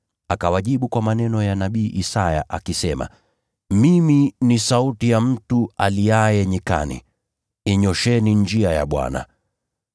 Akawajibu kwa maneno ya nabii Isaya, akisema, “Mimi ni sauti ya mtu aliaye nyikani, ‘Yanyoosheni mapito ya Bwana.’ ”